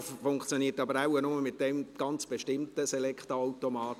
Er funktioniert aber wohl nur bei diesem ganz bestimmten Se- lecta-Automaten.